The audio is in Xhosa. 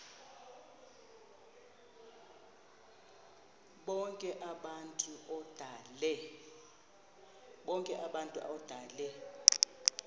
bonk abantu odale